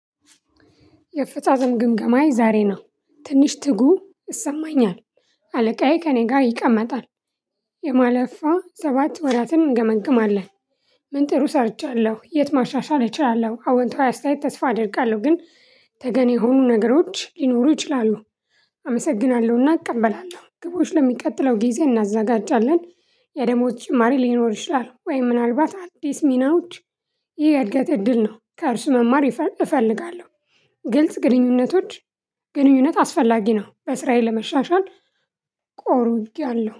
የፈጻጸም ግምገማዬ ዛሬ ነው። ትንሽ ትጉ ይሰማኛል። አለቃዬ ከእኔ ጋር ይቀመጣል። የማለፏ ሰባት ወራትን እንገመግማለን። ምን ጥሩ ሰርቻለሁ የት ማሻሻል እችላለሁ? አዎንታዊ አስተያየት ተስፋ አደርጋለሁ። ግን ተገን የሆኑ ነገሮች ሊኖሩ ይችላሉ። አመሰግናለሁና እቀበላለሁ ግቦች ለሚቀጥለው ጊዜ እናዘጋጃለን። የደሞች ጭማሪ ሊኖር ይችላል ወይ? ምናልባት አዲስ ሚናዎች። ይሄ የእድገት እድል ነው። ከእርሱ መማር እፈልጋለሁ። ግልጽ ግንኙነቶች። ግንኙነት አስፈላጊ ነው በስራዬ ለመሻሻል ቆርጬያለሁ